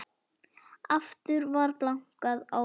Aftur var bankað á dyrnar.